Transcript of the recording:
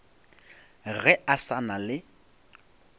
ge a sa na le